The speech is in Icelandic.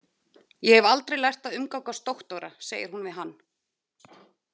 Ég hef aldrei lært að umgangast doktora, segir hún við hann.